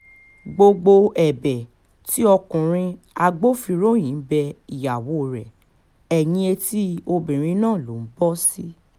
gbogbo ẹ̀bẹ̀ tí ọkùnrin agbófinró yìí ń bẹ ìyàwó rẹ̀ ẹ̀yìn etí obìnrin náà ló ń bọ́ sí